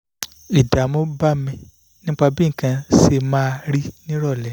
ìdààmú bá mi nípa bí nǹkan ṣe máa rí ní ìrọ̀lẹ́